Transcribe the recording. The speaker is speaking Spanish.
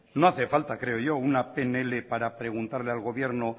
no hace falta creo yo una pnl para preguntarle al gobierno